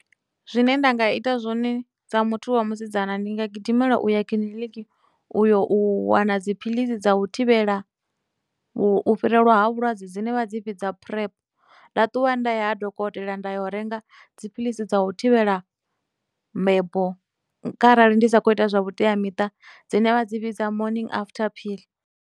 Zwine nda nga ita zwone dza muthu wa musidzana ndi nga gidimela u ya kiḽiniki u yo u wana dziphilisi dza u thivhela u u fhirelwa vhulwadze dzine vha dzi vhidza PrEP, nda ṱuwa nda ya ha dokotela nda ya u renga dziphilisi dza u thivhela mbebo kharali ndi sa khou ita zwa vhuteamiṱa dzine vha dzi vhidza morning after pill.